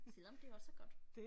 Selvom det også er godt